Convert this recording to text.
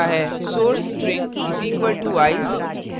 source string = ice